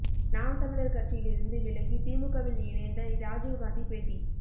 நாம் தமிழர் கட்சியில் இருந்து விலகி திமுகவில் இணைந்த ராஜீவ்காந்தி பேட்டி